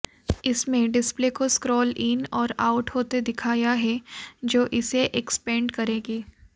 इसमें डिस्प्ले को scroll in और आउट होते दिखाया है जो इसे एक्सपैन्ड करेगी